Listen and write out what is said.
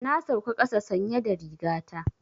Na sauka ƙasa sanye da riga ta.